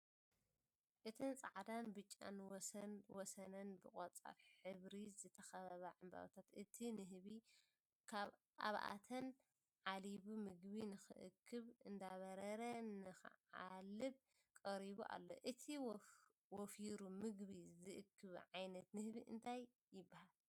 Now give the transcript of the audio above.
እተን ፃዕዳን ብጫን ወሰን ወሰነን ብቆፃል ሕብሪ ዝተከበባ ዕምበባ እቲ ንህቢ ኣብኣተን ዓሊቡ ምግቡ ንክእክብ እንዳበረረ ንክዓልብ ቀሪቡ ኣሎ፡፡ እቲ ወፊሩ ምግቢ ዝእክብ ዓይነት ንህቢ እንታይ ይበሃል?